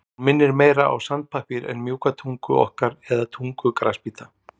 Hún minnir meira á sandpappír en mjúka tungu okkar eða tungu grasbíta.